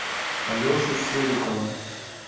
алешу серикова